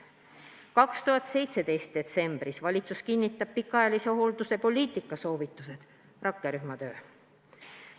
2017. aasta detsember – valitsus kinnitab pikaajalise hoolduse poliitika soovitused, rakkerühma töö.